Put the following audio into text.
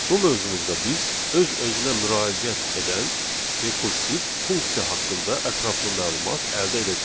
Bu mövzumuzda biz öz-özünə müraciət edən rekursiv funksiya haqqında ətraflı məlumat əldə edəcəyik.